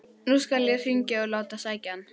Nú skal ég hringja og láta sækja hann.